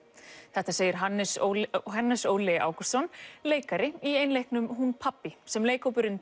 þetta segir Hannes Óli Hannes Óli Ágústsson leikari í einleiknum pabbi sem leikhópurinn